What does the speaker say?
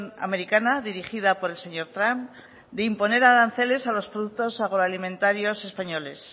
americana dirigida por el señor trump de imponer aranceles a los productos agroalimentarios españoles